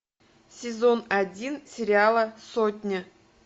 сезон один сериала сотня